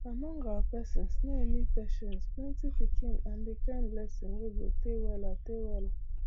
among our person snail mean patience plenty pikin and the kind blessing wey go tey weller tey well